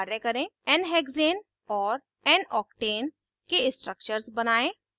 1 nhexane और noctane के structures बनायें